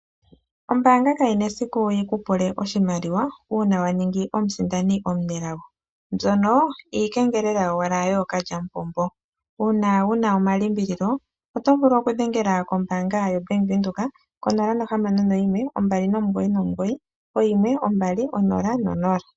Ombaanga kayina esiku yikupule oshimaliwa uuna waningi omusindani omunelago, mbyono iikengelela yowala yookalyamupombo. Uuna wuna omalimbililo oto vulu okudhengela kombaanga yo Bank Windhoek ko 0612991200